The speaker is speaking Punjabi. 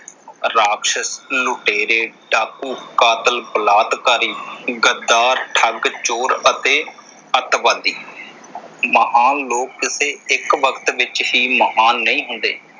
ਰਾਖਸ਼, ਲੁਟੇਰੇ, ਡਾਕੂ, ਕਾਤਿਲ, ਬਲਾਤਕਾਰੀ, ਗ਼ੱਦਾਰ, ਠੱਗ, ਚੋਰ ਅਤੇ ਅੱਤਵਾਦੀ। ਮਹਾਨ ਲੋਕ ਕਿਤੇ ਇੱਕ ਵਕਤ ਵਿੱਚ ਹੀ ਮਹਾਨ ਨਹੀਂ ਹੁੰਦੇ।